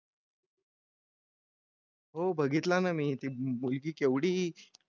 हो बघितला ना मी ते मूलगी केवढी.